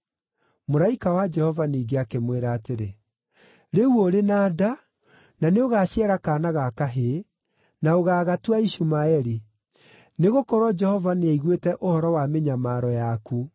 Mũraika wa Jehova ningĩ akĩmwĩra atĩrĩ: “Rĩu ũrĩ na nda, na nĩũgaciara kaana ga kahĩĩ, na ũgaagatua Ishumaeli. Nĩgũkorwo Jehova nĩaiguĩte ũhoro wa mĩnyamaro yaku.